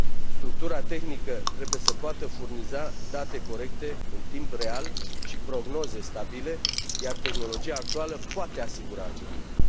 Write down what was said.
Structura tehnică trebuie să poată furniza date corecte în timp real și prognoze stabile, iar tehnologia actuală poate asigura acest lucru.